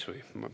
– kräpist.